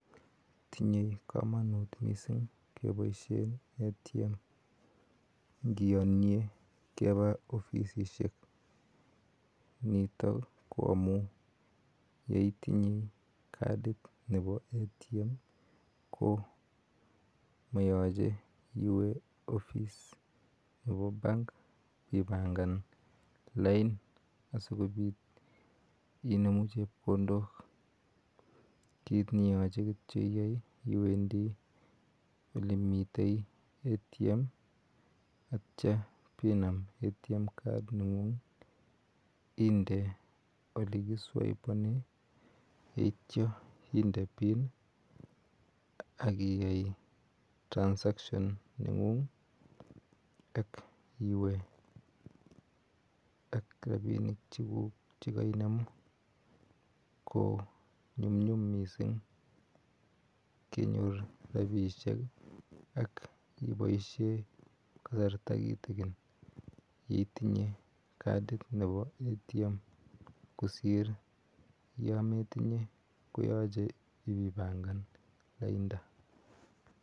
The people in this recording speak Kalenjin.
Tinye komonut missing' keboishen ATM ingiyonien keba ofisishek nito ko amun yeitinye katit nebo ATM komoyoche iwe office nebo bank ibangan lain asikobit inemu chepkondok kit neyoche iyai kityok iwendi ole miten ATM ak itio ibenam ATM card inde ole keswebonen ak itio inde pin ak ikany transactions nengung ak iwe ak rabinik cheguk chekeinemu ko nyumnyum missing' kenyor rabisiek ak iboisien kasarta kitikin yeitinye katit nebo ATM kosir yometinye koyoche ibainangan laindaa.